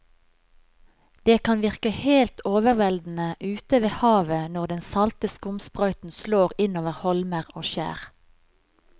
Det kan virke helt overveldende ute ved havet når den salte skumsprøyten slår innover holmer og skjær.